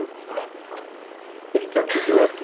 Eitt herbergi og eldhús.